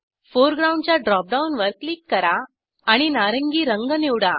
foreground च्या drop डाऊनवर click करा आणि नारिंगी रंग निवडा